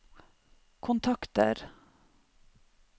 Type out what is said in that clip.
kontakter